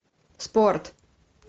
спорт